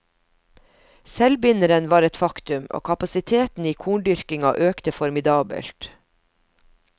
Selvbinderen var et faktum, og kapasiteten i korndyrkinga økte formidabelt.